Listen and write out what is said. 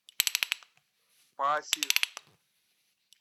пасиг